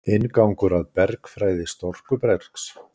Inngangur að bergfræði storkubergs.